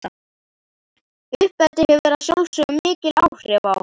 Uppeldið hefur að sjálfsögðu mikil áhrif á okkur.